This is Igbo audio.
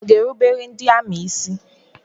Ọ ga erubere ndị amị ísí?